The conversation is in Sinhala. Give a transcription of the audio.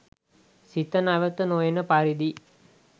සිත නැවත නොඑන පරිදි